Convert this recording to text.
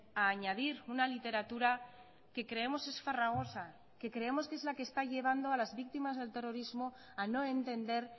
a añadir una literatura que creemos es farragosa que creemos que es la que está llevando a las víctimas del terrorismo a no entender